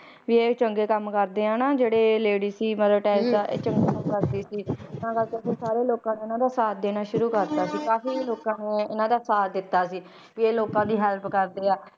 ਵੀ ਇਹ ਚੰਗੇ ਕੰਮ ਕਰਦੇ ਆ ਨਾ ਜਿਹੜੇ lady ਸੀ ਮਦਰ ਟੈਰੇਸਾ ਇਹ ਚੰਗੇ ਕੰਮ ਕਰਦੀ ਸੀ ਤਾਂ ਕਰਕੇ ਫਿਰ ਸਾਰੇ ਲੋਕਾਂ ਨੇ ਇਹਨਾਂ ਦਾ ਸਾਥ ਦੇਣਾ ਸ਼ੁਰੂ ਕਰ ਦਿੱਤਾ ਕਾਫ਼ੀ ਲੋਕਾਂ ਨੇ ਇਹਨਾਂ ਦਾ ਸਾਥ ਦਿੱਤਾ ਸੀ, ਵੀ ਇਹ ਲੋਕਾਂ ਦੀ help ਕਰਦੇ ਆ,